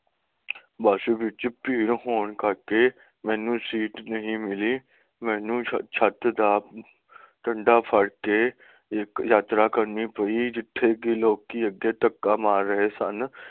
ਬੱਸ ਵਿੱਚ ਭੀੜ ਹੋਣ ਕਰਕੇ ਮੈਨੂੰ ਸੀਟ ਨਹੀਂ ਮਿਲੀ ਮੈਨੂੰ ਛੱਤ ਦਾ ਡੰਡਾ ਫੜ ਕੇ ਨਿੱਕ ਯਾਤਰਾ ਕਰਨੀ ਪਈ ਜਿੱਥੇ ਕਿ ਲੋਕੀ ਅਤੇ ਤਕਾ ਮਾਰ ਰਹੇ ਸਨ